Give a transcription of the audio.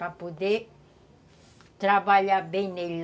Para poder trabalhar bem nele.